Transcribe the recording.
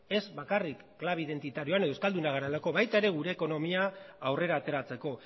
ez bakarrik klabe identitarioan edo euskaldunak garelako baita ere gure ekonomia aurrera ateratzeko